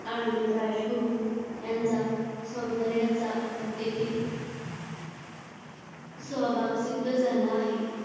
आणि राजगुरू यांचा सौंदर्याचा हत्येतील सहभाग सिद्ध झाला आहे.